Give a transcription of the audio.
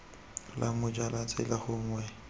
la moja la tsela gongwe